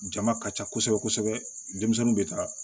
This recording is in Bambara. Jama ka ca kosɛbɛ kosɛbɛ denmisɛnninw bɛ taa